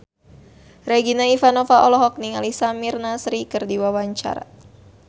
Regina Ivanova olohok ningali Samir Nasri keur diwawancara